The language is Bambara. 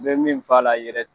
N bɛ min f'a la yɛrɛ